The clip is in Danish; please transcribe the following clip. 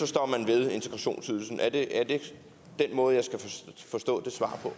står man ved integrationsydelsen er det den måde jeg skal forstå det svar på